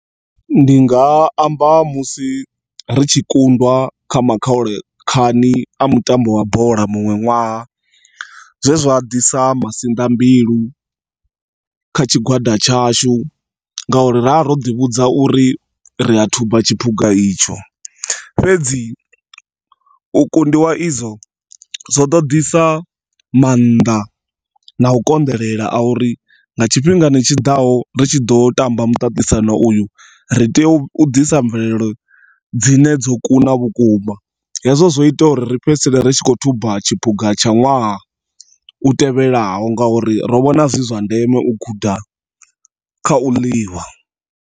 Ndinga amba musi ritshi kundwa kha makhaule khani a mutambo wa bola munwe nwaha. Zwezwa ḓisa masinḓa mbilu kha tshigwada tshashu ngori ra ro ḓivhudza uri ria thuba tshipuga itsho. Fhedzi u kundiwa izwo zwo ḓo ḓisa maanḓa na u konḓelela a uri nga tshifhingani tshi ḓaho ri tshi ḓo tamba muṱaṱisano uyu ri tea u ḓisa mvelelo dzine dzo kuna vhukuma hezwo zwo ita uri ri fhedzisele ritshi kho thuba tshipuga tsha nwaha u tevhelaho nga uri ro vhona zwizwa ndeme u guda kha u ḽiwa.